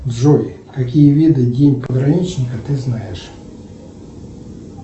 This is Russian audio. джой какие виды день пограничника ты знаешь